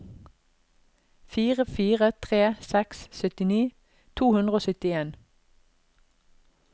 fire fire tre seks syttini to hundre og syttien